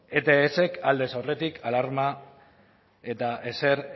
etsek aldez aurretik alarma eta ezer